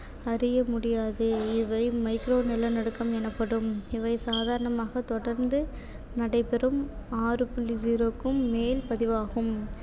அறிய முடியாது இவை micro நிலநடுக்கம் எனப்படும் இவை சாதாரணமாகத் தொடர்ந்து நடைபெறும் ஆறு புள்ளி zero க்கும் மேல் பதிவாகும்